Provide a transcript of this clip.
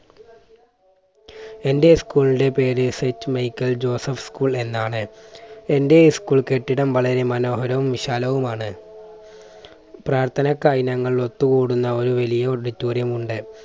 എൻറെ school ന്റെ പേര് saint michle joseph school എന്നാണ്. എൻറെ school കെട്ടിടം വളരെ മനോഹരവും വിശാലവും ആണ്. പ്രാർത്ഥനയ്ക്കായി ഞങ്ങൾ ഒത്തുകൂടുന്ന ഒരു വലിയ auditorium ഉണ്ട്.